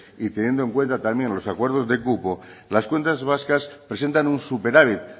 y teniendo en cuenta también los acuerdos de cupo las cuentas vascas presentan un superávit